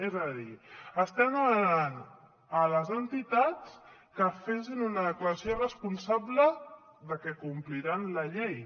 és a dir estem demanant a les entitats que facin una declaració responsable de que compliran la llei